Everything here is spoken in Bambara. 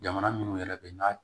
Jamana minnu yɛrɛ bɛ n'a